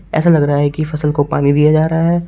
ऐसा लग रहा है की फसल को पानी दिया जा रहा है।